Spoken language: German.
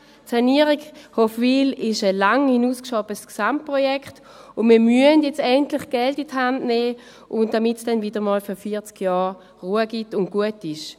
Die Sanierung Hofwil ist ein lange hinausgeschobenes Gesamtprojekt, und wir müssen nun Geld in die Hand nehmen, damit es dann wieder für 40 Jahre Ruhe gibt und gut ist.